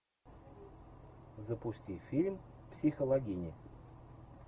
запусти фильм психологини